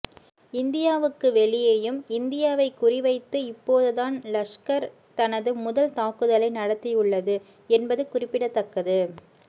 இந்தியாவுக்கு வெளியேயும் இந்தியாவை குறிவைத்து இப்போதுதான் லஷ்கர் தனது முதல் தாக்குதலை நடத்தியுள்ளது என்பது குறிப்பிடத்தக்கது